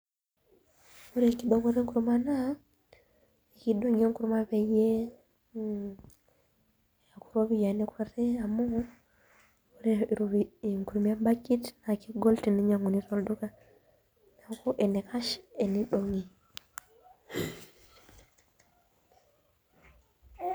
Ore enkidong'oto enkurma naa ekidong'i enkurma peyie eeku ropiyiani kuti amu ore enkurma embakit naa kegol teninyianguni tolduka neeku enaikash tenidong'i.